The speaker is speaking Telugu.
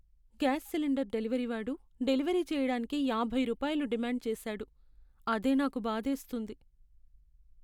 గ్యాస్ సిలిండర్ డెలివరీ వాడు డెలివరీ చేయడానికి యాభై రూపాయలు డిమాండ్ చేశాడు, అదే నాకు బాధేస్తుంది.